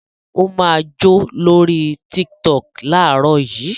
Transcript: Ó máa jó lórí Tiktok láàárọ̀ yìí!